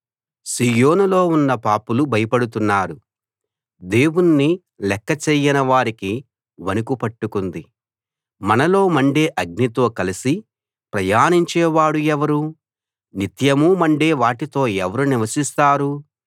సీయోనులో ఉన్న పాపులు భయపడుతున్నారు దేవుణ్ణి లెక్క చెయ్యని వారికి వణుకు పట్టుకుంది మనలో మండే అగ్నితో కలసి ప్రయాణించే వాడు ఎవరు నిత్యమూ మండే వాటితో ఎవరు నివసిస్తారు